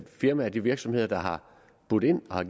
firmaer de virksomheder der har budt ind og har